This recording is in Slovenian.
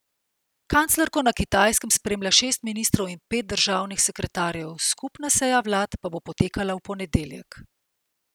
Kanclerko na Kitajskem spremlja šest ministrov in pet državnih sekretarjev, skupna seja vlad pa bo potekala v ponedeljek.